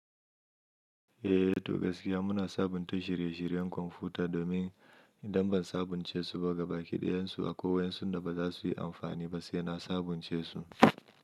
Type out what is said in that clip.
Eh, to gaskiya muna sabunta shirye-shiryen kwamfuta domin idan ban sabunce su ba gaba kiɗayensu akwai waensu da ba za su yi amfani ba sai na sabunce su.